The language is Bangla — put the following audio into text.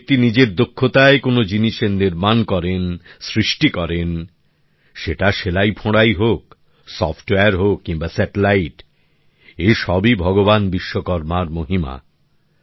যে ব্যাক্তি নিজের দক্ষতায় কোন জিনিসের নির্মাণ করেন সৃষ্টি করেন সেটা সেলাইফোঁড়াই হোক সফটওয়্যার হোক কিংবা কৃত্রিম উপগ্রহ এ সবই ভগবান বিশ্বকর্মার মহিমা